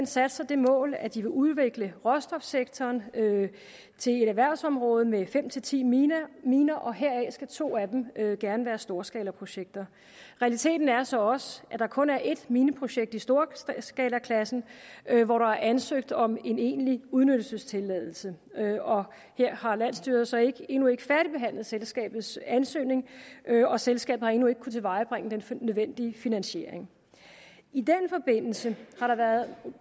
sat sig det mål at de vil udvikle råstofsektoren til et erhvervsområde med fem til ti miner miner og heraf skal to af dem gerne være storskalaprojekter realiteten er så også at der kun er et mineprojekt i stor skalaklassen hvor der er ansøgt om en egentlig udnyttelsestilladelse her har landsstyret så endnu ikke færdigbehandlet selskabets ansøgning og selskabet har endnu ikke kunnet tilvejebringe den nødvendige finansiering i den forbindelse har der været